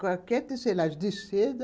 Qualquer tecelagem de seda